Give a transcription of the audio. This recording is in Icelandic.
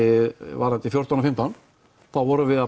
varðandi fjórtán og fimmtán þá vorum við að